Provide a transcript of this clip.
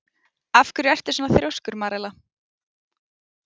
Af hverju ertu svona þrjóskur, Marela?